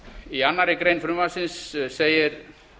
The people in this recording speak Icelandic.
í annarri grein frumvarpsins segir